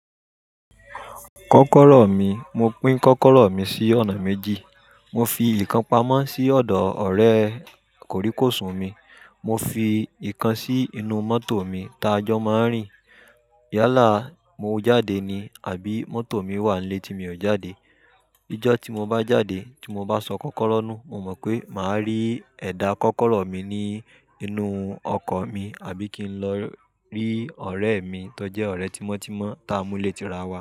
Kọ́kọ́rọ́ mi, mo pín kọ́kọ́rọ́ mi sí ọ̀nà méjì. Mo fi nkan pamọ́ sí ọ̀dọ̀ ọ̀rẹ́ kòríkòsùn mi. Mo fi ikan sí inú mọ́tò mi tá a jọ máa ń rìn. Yálà, mo jáde ni àbí mọ́tò mi wà nílé tí mi ò jáde. Ijọ́ tí mo bá jáde, tí mo bá sọ kọ́kọ́rọ́ nù, mo mọ̀ pé màá rí ẹ̀dà kọ́kọ́rọ́ mi ní inú ọkọ̀ mi àbí kí n lọ rí ọ̀rẹ́ mi tó jẹ́ ọ̀rẹ́ tímọ́ tímọ́ tá a mú léti ra wá.